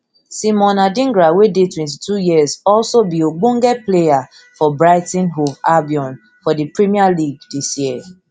simon adingra wey dey twenty-two years also be ogbonge player player for brighton hove albion for di premier league dis year